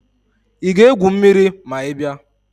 Ị ga-egwu mmiri ma ị bịa?